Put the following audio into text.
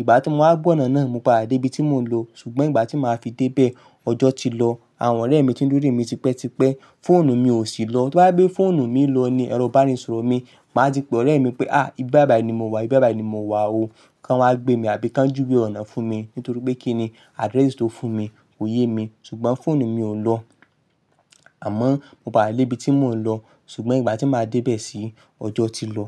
Ìgbà tí mo wá gba ọ̀nà náà, mo padà dé ibi tí mò ń lọ, ṣùgbọ́n ìgbà tí màá fi dé bẹ́ẹ̀, ọjọ́ ti lọ. Àwọn ọ̀rẹ́ mi tí ń dúró mi tipẹ́tipẹ́. Fóònù mi ò sí lọ, to ba je pe fọ́ònù mi lọ ni ẹro ibaníṣòro mi. Màá ti pe ọ̀rẹ́ mi pé, "à, ibi báyi ni mo wà, ibi báyi ni mo wà o, kán wá gbé mi àbí kán júwe ọ̀nà fún mi." Nítorí pé kíni adrẹ́sì tó fún mi kò yé mi, ṣùgbọ́n fóònù mi ò lọ. Àmọ́ mo padà lé ibi tí mò ń lọ, ṣùgbọ́n ìgbà tí màá dé bẹ́ẹ̀ sí, ọjọ́ ti lọ.